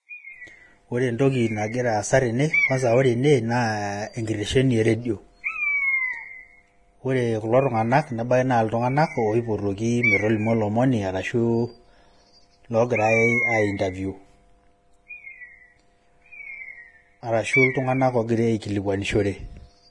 Ore entoki nagira aasa tene, kwasa Kore ene naa enkitesheni eredio. Ore kulo tung'ana nebaiki na iltung'ana oipotoki metolimu olomoni arashu loogirai ai interview. Arashu iltung'ana ogirai aikilikwanishore.